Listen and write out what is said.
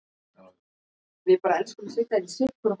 Eru þetta leikmenn sem munu slá í gegn á sínu fyrsta stórmóti?